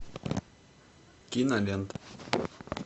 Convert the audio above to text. кинолента